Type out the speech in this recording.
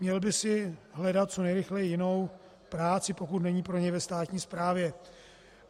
Měl by si hledat co nejrychleji jinou práci, pokud není pro něj ve státní správě.